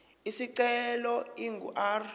isicelo ingu r